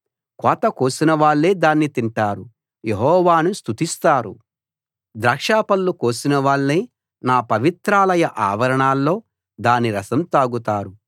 కోత కోసినవాళ్ళే దాన్ని తింటారు యెహోవాను స్తుతిస్తారు ద్రాక్ష పళ్ళు కోసినవాళ్ళే నా పవిత్రాలయ ఆవరణాల్లో దాని రసం తాగుతారు